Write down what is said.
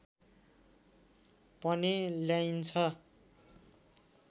पनि ल्याइन्छ